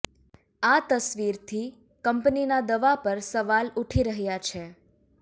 આ તસવીરથી કંપનીના દાવા પર સવાલ ઉઠી રહ્યા છે